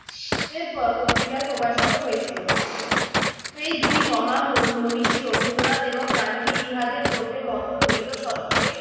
এরপর পত্রিকায় প্রকাশিত হয়েছিল। এই দুই মহা মহি মনিষী রবীন্দ্রনাথ এবং গান্ধী ইহাদের মধ্যে মতদ্বৈত সত্ত্বই